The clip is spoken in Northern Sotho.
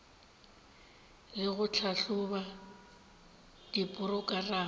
le go tlhahloba diporokerama tša